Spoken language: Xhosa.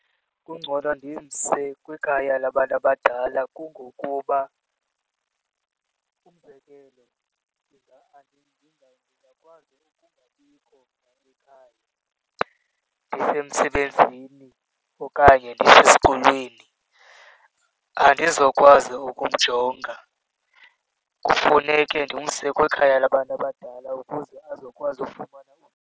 Kungcono ndimse kwikhaya labantu abadala kungokuba umzekelo, ndingakwazi ukungabikho ekhaya ndisemsebenzini okanye ndisesesikolweni. Andizokwazi ukumjonga, kufuneke ndimse kwikhaya labantu abadala ukuze azokwazi ufumana .